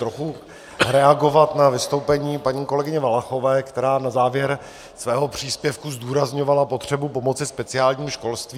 Trochu reagovat na vystoupení paní kolegyně Valachové, která na závěr svého příspěvku zdůrazňovala potřebu pomoci speciálnímu školství.